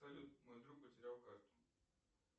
салют мой друг потерял карту